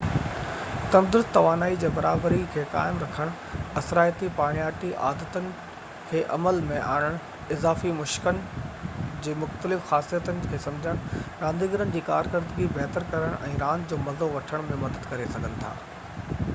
تندرست توانائي جي برابري کي قائم رکڻ اثرائتي پاڻياٺي عادتن کي عمل ۾ آڻڻ اضافي مشڪن جي مختلف خاصيتن کي سمجهڻ رانديگرن جي ڪارڪردگي بهتر ڪرڻ ۽ راند جو مزو وٺڻ ۾ مدد ڪري سگهن ٿا